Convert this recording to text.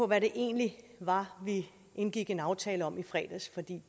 hvad det egentlig var vi indgik en aftale om i fredags for det